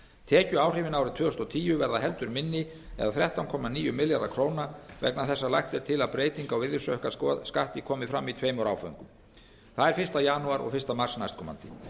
tekjuáhrifin árið tvö þúsund og tíu verða heldur minni eða þrettán komma níu milljarðar króna vegna þess að lagt er til að breyting á virðisaukaskatti komi fram í tveimur áföngum það er fyrsta janúar og fyrsta mars næstkomandi